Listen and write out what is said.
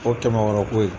O kɛmɛ wɔɔrɔ ko ye